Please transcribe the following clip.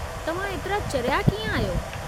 तव्हां एतिरा चरिया कीअं आहियो?